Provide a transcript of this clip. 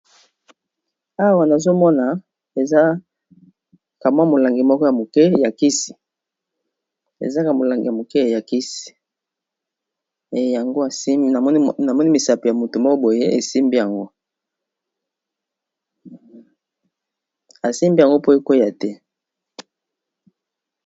Awa nazomona eza kamwa molangi moko ya moke ya kisi, ezaka molangi ya moke ya kisi eyango namoni misapo ya motu mo boye esimyango, esimbi yango po ekwea te.